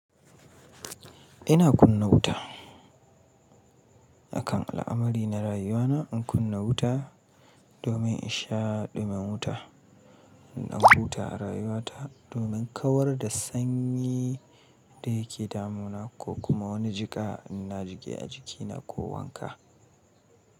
Ina kunna wuta. Akan al'amari na rayuwana in kunna wuta domin in sha ɗumin wuta. Ina huta a rayuwata domin kawar da sanyi da yake damuna ko kuma wani jika ina jiƙe a jikina ko wanka.